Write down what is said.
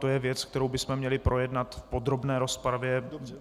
To je věc, kterou bychom měli projednat v podrobné rozpravě.